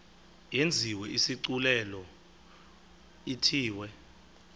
yenziwe isigculelo ithiwe